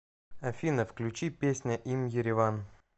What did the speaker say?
афина включи песня им ереван